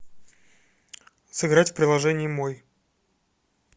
сыграть в приложение мой